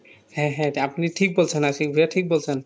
হ্যাঁ হ্যাঁ আপনি ঠিক বলছেন আশিক ভাইয়া ঠিক বলছেন